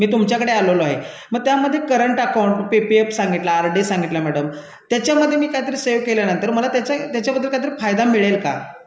तुमच्याकडे आलेलो आहे मग त्यामध्ये चालू खाते पीपीएफ सांगितला आरडीएक्स सांगितले मॅडम त्याच्यामध्ये मी काहीतरी बचत केल्या त्याबद्दल मला त्याच्यामध्ये काही फायदा मिळेल का